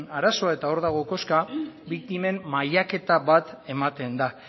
arazoa eta hor dago koska biktimen mailaketa bat ematen da